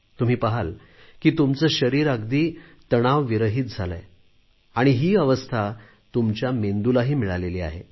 तुम्ही पाहाल की तुमचे शरीर अगदी तणावरहीत झाले आहे आणि ही अवस्था तुमच्या मेंदूलाही मिळालेली आहे